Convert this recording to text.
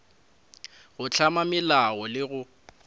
go hlama melao le go